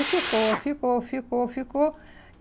E ficou, ficou, ficou, ficou.